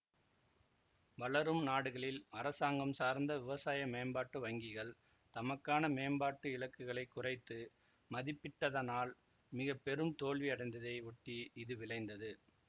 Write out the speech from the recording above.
வளரும் நாடுகளில் அரசாங்கம் சார்ந்த விவசாய மேம்பாட்டு வங்கிகள் தமக்கான மேம்பாட்டு இலக்குகளை குறைத்து மதிப்பிட்டதனால் மிக பெரும் தோல்வி அடைந்ததை ஒட்டி இது விளைந்தது